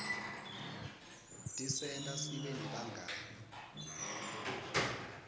tisenta sibe nebangani